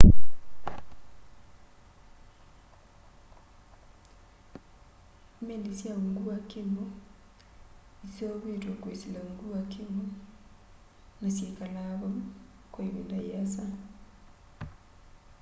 meli sya ungu wa kiwu iseuvitwe kwisila ungu wa kiwu na syikalaa vau kwa ivinda yiasa